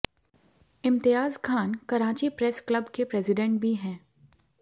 इम्तियाज़ Khan Karachi press club के president भी हैं